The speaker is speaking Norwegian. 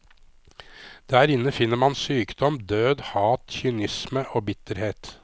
Der inne finner man sykdom, død, hat, kynisme og bitterhet.